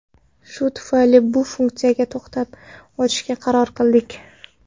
Shu tufayli bu funksiyaga to‘xtalib o‘tishga qaror qildik.